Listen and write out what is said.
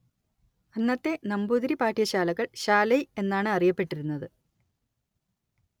അന്നത്തെ നമ്പൂതിരി പാഠ്യശാലകൾ ശാലൈ എന്നാണ് അറിയപ്പെട്ടിരുന്നത്